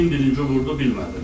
Kim birinci vurdu bilmədim.